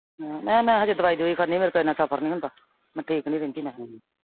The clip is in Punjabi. ਮੈਂ ਕਿਹਾ ਮੈਂ ਹਜੇ ਦਵਾਈ ਦਵੁਈ ਖਾਨੀ ਆਂ। ਮੇਰੇ ਕੋਲ ਏਨਾ ਸਫ਼ਰ ਨਈਂ ਹੁੰਦਾ। ਮੈਂ ਠੀਕ ਨਈਂ ਰਹਿੰਦੀ ਮਖਾਂ ਮੈਂ।